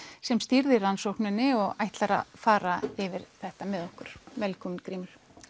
sem stýrði rannsókninni og ætlar að fara yfir þetta með okkur velkominn Grímur